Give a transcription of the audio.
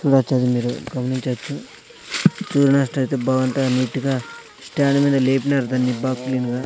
కూడా చదివి మీరు గమనించవచ్చు అయితే బాగుంటాయి నీటిగా స్టాండ్ మీద లేపినారు దాన్ని బా క్లీనుగా .